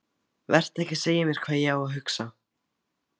Vertu ekki að segja mér hvað ég á að hugsa!